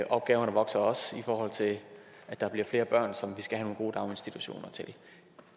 opgaverne vokser også i forhold til at der bliver flere børn som vi skal have nogle gode daginstitutioner til